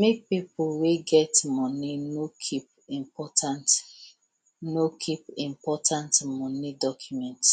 make pipo wey get moni no kip important no kip important moni documents